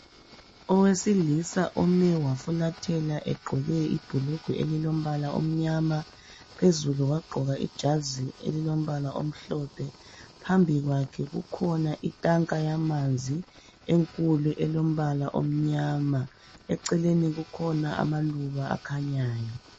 owesilisa ome wafulathela egqoke ibhulugwa elilombala omnyama phezulu wagqoka ijazi elilombala omhlophe phambi kwakhe kukhona itanga yamanzi enkulu elombala omnyama eceleni kukhona amaluba akhanyayo